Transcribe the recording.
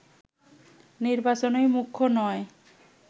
নির্বাচনই মুখ্য নয়